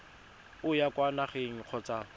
o ya kwa nageng kgotsa